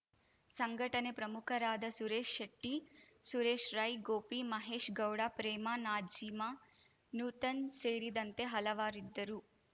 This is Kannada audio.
ಸಂಘಟನೆ ಪ್ರಮುಖರಾದ ಸುರೇಶ್‌ ಶೆಟ್ಟಿ ಸುರೇಶ್‌ ರೈ ಗೋಪಿ ಮಹೇಶ್‌ ಗೌಡ ಪ್ರೇಮ ನಾಜೀಮ ನೂತನ್‌ ಸೇರಿದಂತೆ ಹಲವಾರಿದ್ದರು